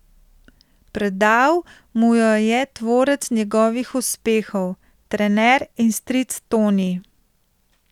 Predal mu jo je tvorec njegovih uspehov, trener in stric Toni.